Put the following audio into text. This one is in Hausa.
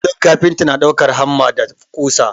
Kullum kafinta na ɗaukan hamma da ƙusa.